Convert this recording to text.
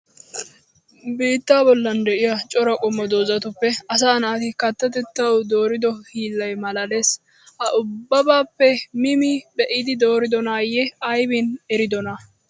Biittaa bollan de'iya cora qommo dozatuppe asaa naati kattatettawu doorido hiillay maalaalees. Ha ubbabaappe mi mi be'idi dooridonaayee aybin eridonaa?